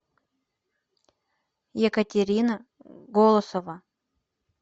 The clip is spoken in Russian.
екатерина голосова